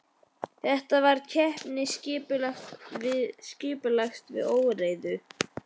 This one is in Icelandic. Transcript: Þetta var keppni skipulags við óreiðu.